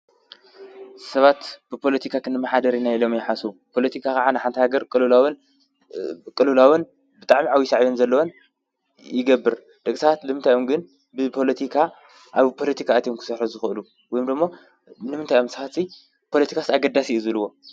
ሰባት ብፖሎቲካ ኽንመሓደር ኢና ኢሎም ይሓሱቡ። ፖሎቲካ ኸዓ ን ሓንታ ሃገር ቅሉላውን ብጣዕሚ ዓብይ ሳዕብዮን ዘለወን ይገብር። ደቂ ሰባትንምታዮምግን ብፖሎቲካ ኣብ ፖሎቲካ እትም ክሳርሕ ዝኸሉ ወይ ምዶሞ ንምንታይ ፖሎቲካ ኣገዳስ እዩ ዝብልዎ?